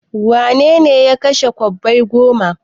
Wane ne ya kashe kwabbai goma?